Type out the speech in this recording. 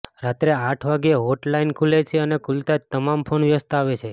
રાત્રે આઠ વાગ્યે હોટલાઇન ખુલે છે અને ખૂલતાં જ તમામ ફોન વ્યસ્ત આવે છે